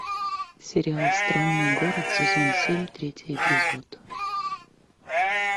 сериал странный город сезон семь третий эпизод